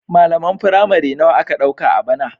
Malaman firamare nawa aka ɗauka a bana?